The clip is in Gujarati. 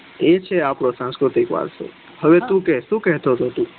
એ છે આપડો સાંસ્કૃતિક વારસો હવે તું કે સુ કેતો તો તું